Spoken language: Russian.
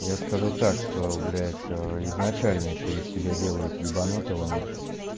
я скажу так что блять а изначально ещё из тебя делают ебанутого нахуй